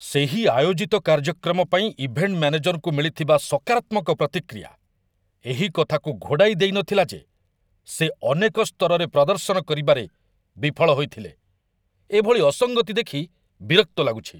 ସେହି ଆୟୋଜିତ କାର୍ଯ୍ୟକ୍ରମ ପାଇଁ ଇଭେଣ୍ଟ ମ୍ୟାନେଜରଙ୍କୁ ମିଳିଥିବା ସକାରାତ୍ମକ ପ୍ରତିକ୍ରିୟା ଏହି କଥାକୁ ଘୋଡ଼ାଇ ଦେଇନଥିଲା ଯେ ସେ ଅନେକ ସ୍ତରରେ ପ୍ରଦର୍ଶନ କରିବାରେ ବିଫଳ ହୋଇଥିଲେ। ଏଭଳି ଅସଙ୍ଗତି ଦେଖି ବିରକ୍ତ ଲାଗୁଛି।